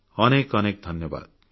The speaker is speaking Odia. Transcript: ଅନେକ ଅନେକ ଧନ୍ୟବାଦ